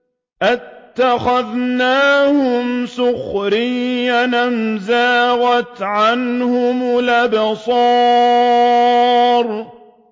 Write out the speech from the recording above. أَتَّخَذْنَاهُمْ سِخْرِيًّا أَمْ زَاغَتْ عَنْهُمُ الْأَبْصَارُ